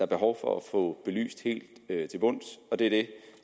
behov for at få belyst det her helt til bunds og det